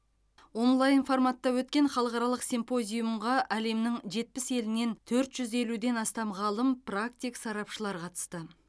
онлайн форматта өткен халықаралық симпозиумға әлемнің жетпіс елінен төрт жүз елуден астам ғалым практик сарапшылар қатысты